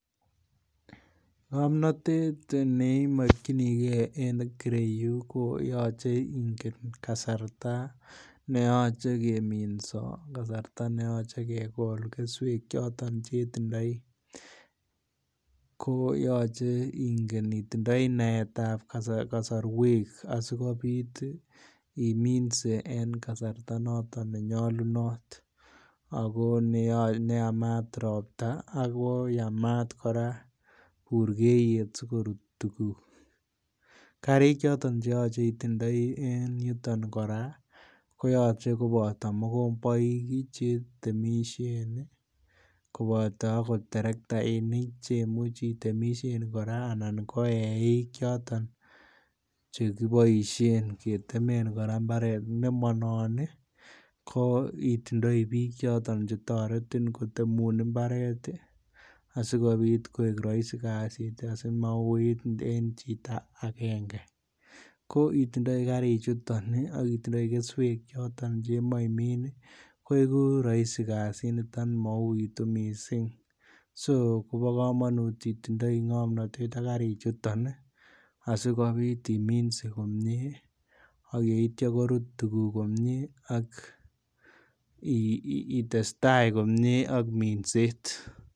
Ngomnatet ne I mokyinigei en ireyu ko yochei ingen kasarta ne yoche keminso kasarta neyoche kegol keswek choton Che tindoi ko yoche ingen itindoi naetab kasarwek asikobit iminse en kasarta noton ne nyolunot ago ne Yamat ropta ako Yamat kora burgeiyet asi korut tuguk karik choton Che yoche itindoi en yuton kora ko yoche koboto mokomboik Che temisien koboto okot terektainik imuche iboisien kora anan ko eik choton Che kiboisien ketemen kora mbaret nemonon itindoi bik choton Che toretin kotemun mbaret asikobit koik rahisi kasit asi mauit en chito agenge ko itindoi karichuton ak itindoi keswek choton Che moe imin koegu rahisi kasiniton mouitu mising so kobo kamanut itindoi ngomnatet ak karichuton asikobit iminse komie ak yeityo korut tuguk komie ak itestai komie ak minset